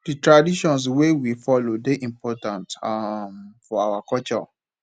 di traditions wey we follow dey important um for our culture